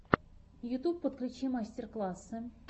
ютьюб подключи мастер классы